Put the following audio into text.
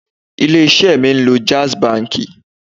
Ilé isẹ́ mi ń lo jaiz banki